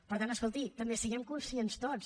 per tant escolti també siguem ne conscients tots